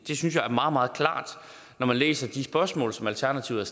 det synes jeg er meget meget klart når man læser de spørgsmål som alternativet